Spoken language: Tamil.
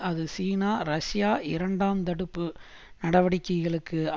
அது சீனா ரஷ்யா இரண்டாம் தடுப்பு நடவடிக்கைகளுக்கு